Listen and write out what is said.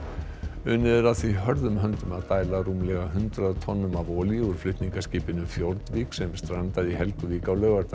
unnið er að því hörðum höndum að dæla rúmlega hundrað tonnum af olíu úr flutningaskipinu Fjordvik sem strandaði í Helguvík á laugardag